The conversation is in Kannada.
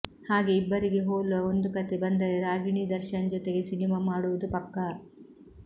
ಹಾಗೆ ಇಬ್ಬರಿಗೆ ಹೋಲುವ ಒಂದು ಕಥೆ ಬಂದರೆ ರಾಗಿಣಿ ದರ್ಶನ್ ಜೊತೆಗೆ ಸಿನಿಮಾ ಮಾಡುವುದು ಪಕ್ಕಾ